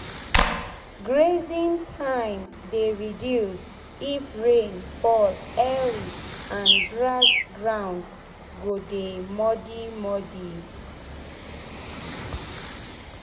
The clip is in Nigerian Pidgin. grazing time dey reduce if rain fall early and grass ground go dey muddy muddy